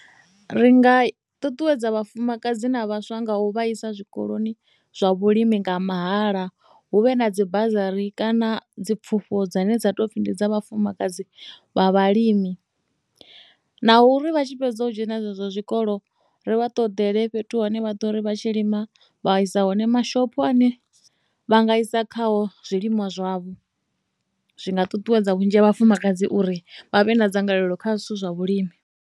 Ri nga ṱuṱuwedza vhafumakadzi na vhaswa nga u vhaisa zwikoloni zwa vhulimi nga mahala hu vhe na dzi bassury kana dzi pfhufho dzine dza tou pfhi ndi dza vhafumakadzi vha vhalimi na uri vha tshi fhedza u dzhena zwikolo ri vha ṱoḓeliwe fhethu hune vha ḓo ri vha tshi lima vha isa hone mashopho ane vha nga isa kha ho zwilimwa zwavho zwi nga ṱuṱuwedza vhunzhi ha vhafumakadzi uri vha vhe na dzangalelo kha zwithu zwa vhulimi.